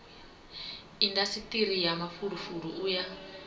indasiṱiri ya mafulufulu u ya